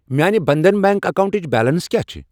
میانہِ بنٛدھن بیٚنٛک اکاونٹٕچ بیلنس کیٛاہ چھِ؟